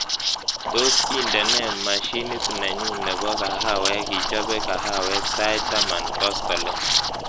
Tos, indene mashinitnenyu nebo kahawek ichobe kahawek sait taman koskolin